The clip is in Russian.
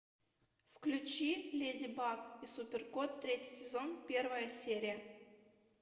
включи леди баг и супер кот третий сезон первая серия